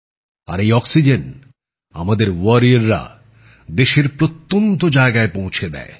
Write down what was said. আর এই অক্সিজেন আমাদের যোদ্ধারা দেশের প্রত্যন্ত জায়গায় পৌঁছে দেয়